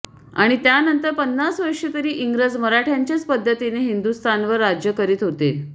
आणि त्यानंतर पन्नास वर्षे तरी इंग्रज मराठय़ांच्याच पद्धतीने हिंदुस्थानवर राज्य करीत होते